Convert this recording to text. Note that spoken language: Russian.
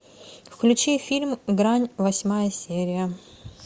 включи фильм грань восьмая серия